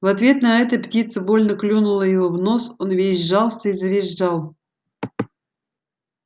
в ответ на это птица больно клюнула его в нос он весь сжался и завизжал